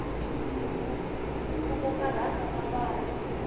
ku koka rhanga na vana